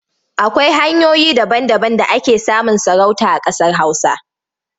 Akwai hanyoyi daba-daban da ake samun sarauta a ƙasar Hausa.